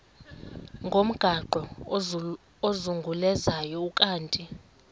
ngomgaqo ozungulezayo ukanti